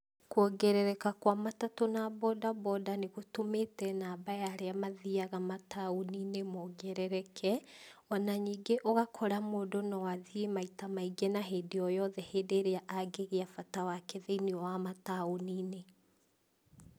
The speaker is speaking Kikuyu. Kuongererka kwa matatũ na bodaboda nĩgũtũmĩte namba ya arĩa mathĩaga mataũni-inĩ mongerereke, ona ningĩ ũgakora mũndũ no athiĩ maita maĩngĩ na hindĩ oyothe hĩndĩ ĩrĩa angĩgĩa bata wake thĩinĩ wa mataũni-inĩ.